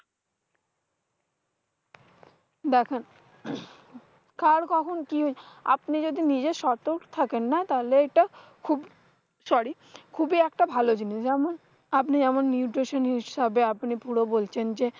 দেখেন কার কখন কি, আপনি যদি নিজে সতর্ক থাকেন তাহলে এটা খুব sorry খুব একটা ভালো জিনিস যেমন, আপনি আমার nutation হিসেবে আপনি পুরো বলছেন যে,